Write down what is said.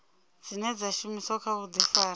dzine dza shumiswa kha vhuḓifari